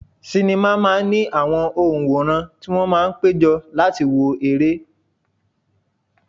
Sinima máa ń ní àwọn onworan tí wón máa ń péjọ láti wo ere.